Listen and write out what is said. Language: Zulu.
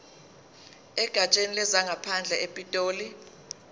egatsheni lezangaphandle epitoli